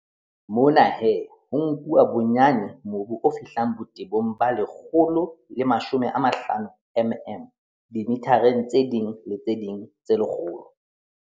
Mona he, ho nkuwa bonyane mobu o fihlang botebong ba 150 mm dimithareng tse ding le tse ding tse lekgolo.